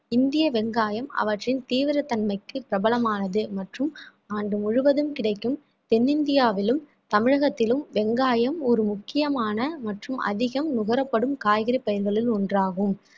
இந்திய வெங்காயம் அவற்றின் தீவிர தன்மைக்கு பிரபலமானது மற்றும் ஆண்டு முழுவதும் கிடைக்கும் தென்னிந்தியாவிலும் தமிழகத்திலும் வெங்காயம் ஒரு முக்கியமான மற்றும் அதிகம் நுகரப்படும் காய்கறி பயிர்களில் ஒன்றாகும்